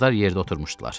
Qızlar yerdə oturmuşdular.